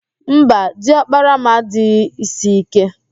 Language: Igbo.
Mba, di ọkpara m adịghị ísí íké